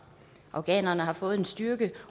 afghanerne har fået en styrke